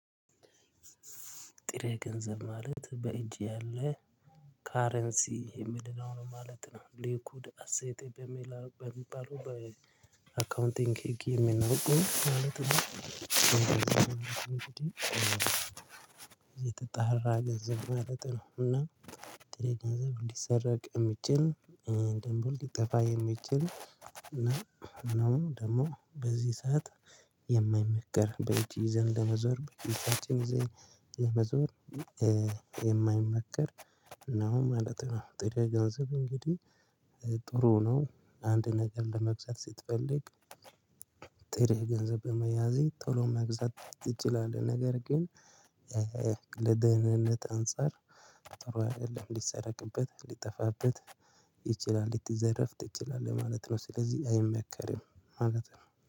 ጥሬ ገንዘብ ማለት በእጅ ያለ ከረንሲ የምንለው ነው ማለት ነው ሊኩይድ አሴት በሚባለው በአካውንቲንግ ህግ የምናውቀው ማለት ነው። የተጣራ ገንዘብ ማለት ነው። እና ጥሬ ገንዘብ ሊሰረቅ የሚችል ደግሞ ሊጠፋ የሚችል እና እኔም ደግሞ በዚህ ሰዓት የማይመከር በእጅ ይዘን ለመዘወር በእጅ ይዘን ይሄ መዞር የማይመከር ነው። ማለት ነው ጥሬ ገንዘብ እንግዲህ ጥሩ ነው አንድ ነገር ለመግዛት ስትፈልግ። ጥሬ ገንዘብ በመያዝ ቶሎ መግዛት ትችላለህ። ነገር ግን ለደህንነት አንፃር ጥሩ አይደለም ሊሰረቅበት ሊጠፋበት ይችላል ልትዘረፍ ትችላለህ ማለት ነው። ስለዚህ አይመከርም ማለት ነው